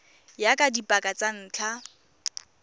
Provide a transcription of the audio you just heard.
ya ka dipaka tsa ntlha